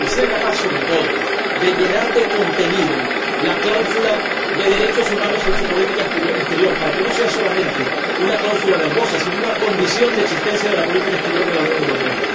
y sea capaz, sobre todo, de llenar de contenido la cláusula de derechos humanos en su política exterior, para que no sea solamente una cláusula verbosa, sino una condición de existencia de la política exterior de la Unión Europea.